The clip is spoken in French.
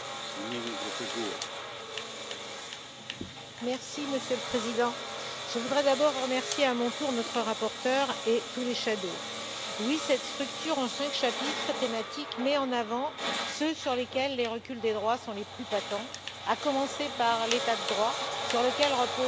Monsieur le Président, je voudrais d'abord remercier à mon tour notre rapporteur et tous les rapporteurs fictifs. Cette structure en cinq chapitres thématiques met en avant ce sur quoi les reculs des droits sont les plus patents, à commencer par l'état de droit sur lequel repose toute construction politique ou devrait reposer toute construction politique.